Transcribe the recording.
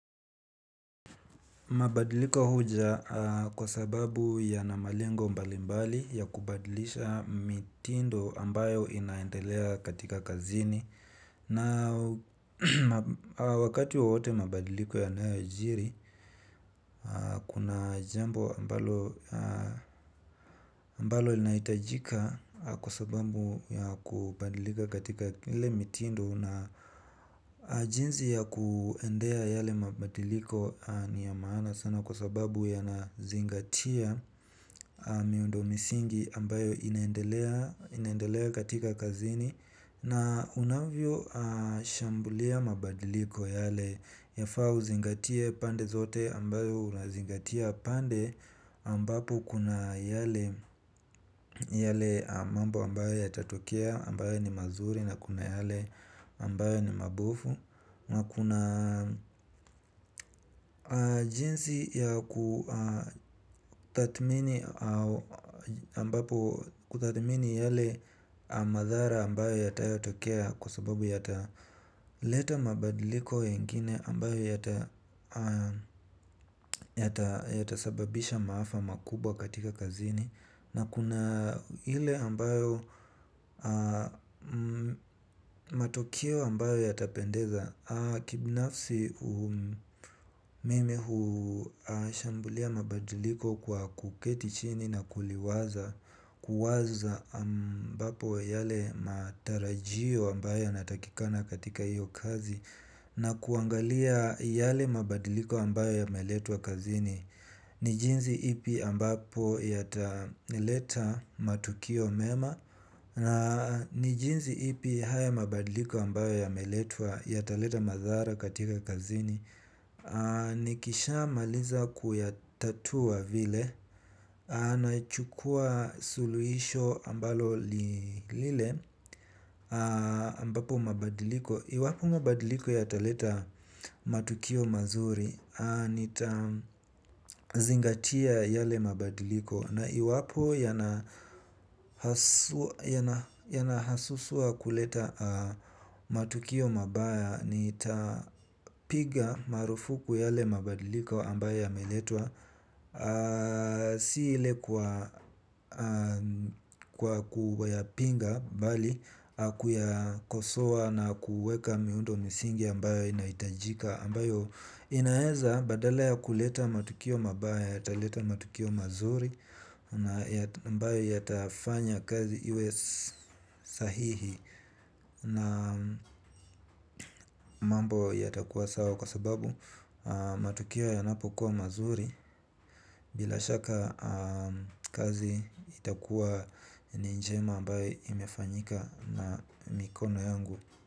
Mabadiliko huja kwa sababu yana malengo mbali mbali ya kubadilisha mitindo ambayo inaendelea katika kazini. Na wakati wowote mabadiliko yanayojiri, kuna jembo mbalo inaitajika kwa sababu ya kubadilika katika ile mitindo. Na jinzi ya kuendea yale mabadiliko ni ya maana sana kwa sababu yanazingatia miundo misingi ambayo inaendelea katika kazini na unavyo shambulia mabadiliko yale ya faa uzingatia pande zote ambayo unazingatia pande ambapo kuna yale yale mambo ambayo yatatokea, ambayo ni mazuri na kuna yale ambayo ni mabofu. Nakuna jinsi ya kutathmini yale madhara ambayo yatayo tokea. Kwa sababu yata leta mabadiliko yengine ambayo yatasababisha maafa makubwa katika kazini. Na kuna hile ambayo matokeo ambayo yatapendeza. Kibnafsi mime huashambulia mabadiliko kwa kuketi chini na kuliwaza kuwaza ambapo yale matarajio ambayo yanatakikana katika haiyo kazi. Na kuangalia yale mabadiliko ambayo yameletwa kazini. Nijinzi ipi ambapo yata nileta matukio mema. Nijinzi ipi haya mabadiliko ambayo ya meletwa yataleta madhara katika kazini. Nikisha maliza kuyatatua vile nachukua suluhisho ambalo lile ambapo mabadiliko iwapo mabadiliko yata leta matukio mazuri nita zingatia yale mabadiliko. Na iwapo yana hasusuwa kuleta matukio mabaya nitapiga marufuku yale mabadiliko ambayo ya meletwa. Si ile kwa kuwayapinga bali kuyakosoa na kuweka miundo misingi ambayo inaitajika ambayo inaeza badala ya kuleta matukio mabaya yataleta matukio mazuri na ambayo ya tafanya kazi iwe sahihi na mambo yatakuwa sawa kwa sababu matukio yanapo kuwa mazuri bila shaka kazi itakuwa ni njema ambayo imefanyika na mikono yangu.